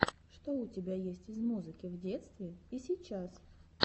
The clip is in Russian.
что у тебя есть из музыки в детстве и сейчас